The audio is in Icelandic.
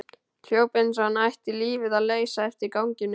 Hljóp eins og hann ætti lífið að leysa eftir ganginum.